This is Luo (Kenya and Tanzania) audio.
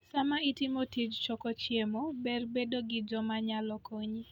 Sama itimo tij choko chiemo, ber bedo gi joma nyalo konyi.